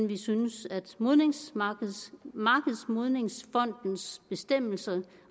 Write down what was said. vi synes at markedsmodningsfondens bestemmelser